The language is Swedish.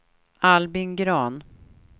Albin Grahn